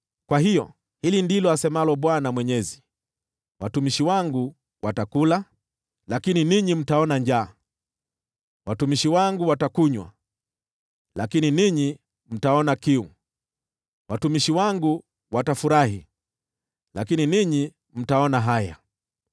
Kwa hiyo hili ndilo asemalo Bwana Mwenyezi: “Watumishi wangu watakula, lakini ninyi mtaona njaa; watumishi wangu watakunywa lakini ninyi mtaona kiu; watumishi wangu watafurahi, lakini ninyi mtaona haya.